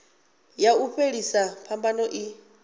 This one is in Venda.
ya u fhelisa phambano i